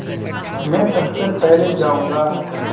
मैं सबसे पहले जाऊँगा